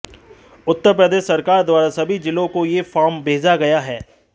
उत्तर प्रदेश सरकार द्वारा सभी जिलों को यह फार्म भेजा गया है